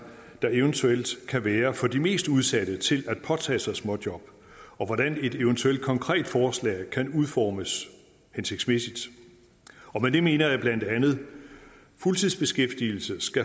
der eventuelt kan være for de mest udsatte til at påtage sig småjob og hvordan et eventuelt konkret forslag kan udformes hensigtsmæssigt med det mener jeg bla at fuldtidsbeskæftigelse